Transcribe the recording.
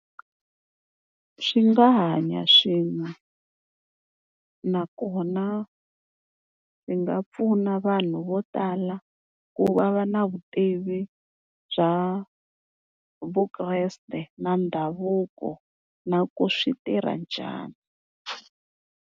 Swi nga hanya swin'we, nakona swi nga pfuna vanhu vo tala ku va va na vutivi bya Vukreste na ndhavuko na ku swi tirha njhani.